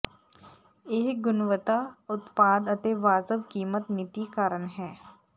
ਇਹ ਗੁਣਵੱਤਾ ਉਤਪਾਦ ਅਤੇ ਵਾਜਬ ਕੀਮਤ ਨੀਤੀ ਕਾਰਨ ਹੈ